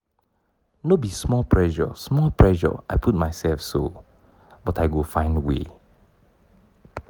no be small pressure small pressure i put mysef so but i go find way.